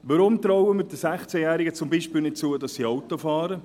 Weshalb trauen wir den 16-Jährigen zum Beispiel nicht zu, dass sie Auto fahren?